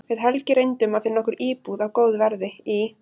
Við Helgi reyndum að finna okkur íbúð á góðu verði í